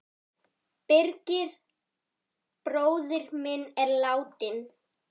Birgir bróðir minn er látinn.